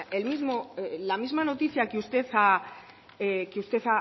la misma noticia que usted